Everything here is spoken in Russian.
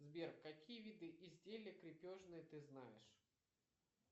сбер какие виды изделия крепежные ты знаешь